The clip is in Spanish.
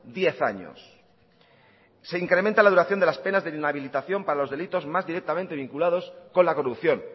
diez años se incrementa la duración de las penas de inhabilitación para los delitos más directamente vinculados con la corrupción